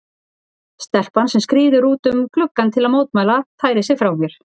Stelpan sem skríður út um gluggann til að mótmæla færir sig frá mér.